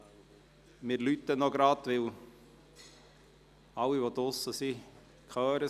Wir klingeln gerade noch, damit es alle hören, die draussen sind.